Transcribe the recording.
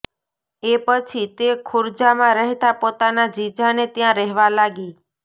એ પછી તે ખુર્જામાં રહેતા પોતાના જીજાને ત્યાં રહેવા લાગી